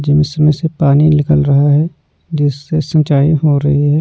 जिसमें से पानी निकल रहा है जिससे सिंचाई हो रही है।